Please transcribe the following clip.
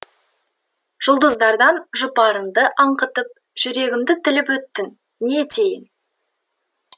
жұлдыздардан жұпарыңды аңқытып жүрегімді тіліп өттің не етейін